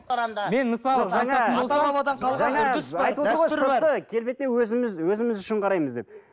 келбетіне өзіміз өзіміз үшін қараймыз деп